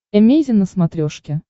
эмейзин на смотрешке